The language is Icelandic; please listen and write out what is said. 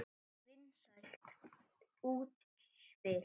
Vinsælt útspil.